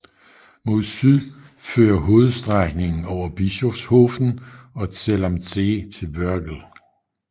Mod syd fører hovedstrækningen over Bischofshofen og Zell am See til Wörgl